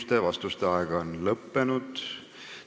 Teie vastamise aeg on lõppenud.